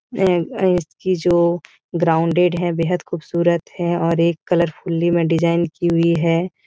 ए-ए इसकी जो ग्राउंडेड है बेहद ख़ूबसूरत है और एक कलरफुली में डिज़ाइन की हुई है।